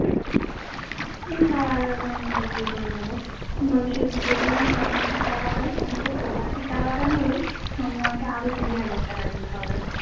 তার আগে হয়তো আমি বিয়ে টিয়ে করে নেব তার আগে হয়তো আমি বিয়ে টিয়ে করে নেব বলেছে আমি যদি কন্যাশ্রী টাকাটা পাই তো কন্যাশ্রী টাকাটা তো নেবই সঙ্গে আমাকে আরো কুড়ি হাজার টাকা দিতে হবে